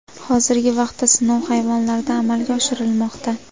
Hozirgi vaqtda sinov hayvonlarda amalga oshirilmoqda.